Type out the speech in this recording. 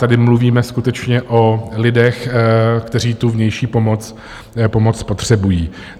Tady mluvíme skutečně o lidech, kteří tu vnější pomoc potřebují.